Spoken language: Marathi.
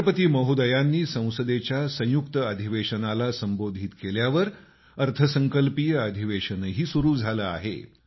राष्ट्रपतीं महोदयांनी संसदेच्या संयुक्त अधिवेशनाला संबोधन केल्यावर अर्थसंकल्पीय अधिवेशनही सुरू झालं आहे